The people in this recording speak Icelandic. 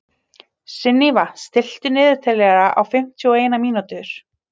Sunníva, stilltu niðurteljara á fimmtíu og eina mínútur.